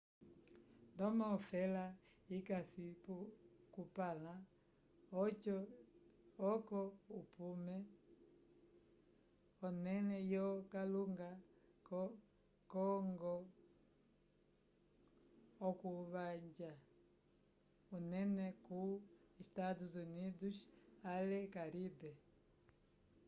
ndomo ofela ikasi kupala oco ipume onele yo kalunga co ngo okuvanja unene ko estados unidos ale caribe